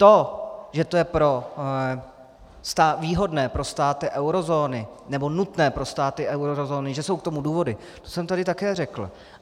To, že to je výhodné pro státy eurozóny nebo nutné pro státy eurozóny, že jsou k tomu důvody, to jsem tady také řekl.